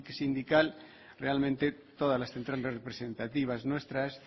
sindical realmente todas las centrales representativas nuestras